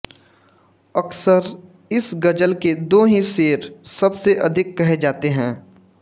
अक्सर इस ग़ज़ल के दो ही शेर सब से अधिक कहे जाते हैं